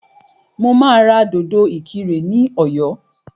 Mo máa ra dòdò ìkirè ní ọ̀yọ́